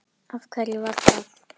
Af hverju var það?